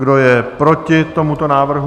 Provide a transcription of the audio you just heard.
Kdo je proti tomuto návrhu?